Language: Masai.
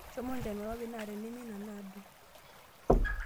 Shomo inchanua irpapit naa teneme ina naadung .